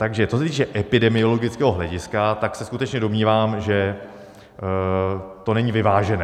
Takže co se týče epidemiologického hlediska, tak se skutečně domnívám, že to není vyvážené.